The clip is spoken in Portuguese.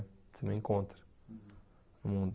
Você não encontra no mundo.